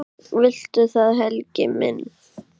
Viltu það, Helgi minn?